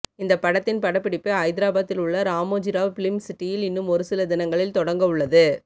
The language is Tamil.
இந்த படத்தின் படப்பிடிப்பு ஐதராபாத்தில் உள்ள ராமோஜிராவ் பிலிம் சிட்டியில் இன்னும் ஒருசில தினங்களில் தொடங்க உள்ளது